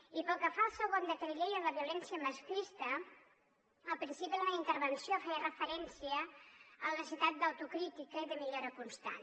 i pel que fa al segon decret llei el de violència masclista al principi de la meva intervenció feia referència a la necessitat d’autocrítica i de millora constant